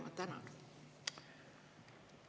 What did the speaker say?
Ma tänan!